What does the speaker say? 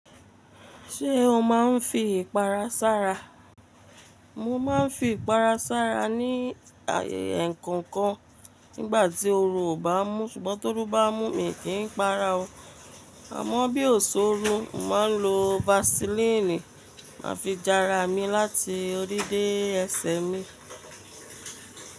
Ṣé o máa ń fi ìpara sára? Mo máa ń fi ìpara sára ní ẹ̀kankọ nígbà tí oru ò bá mú, ṣùgbọ́n toru bá mú mi kì n para ọ, àmọ́ bí ò sooru, màá lo Vaseline máa fi jara mi láti orí dé ẹsẹ mi.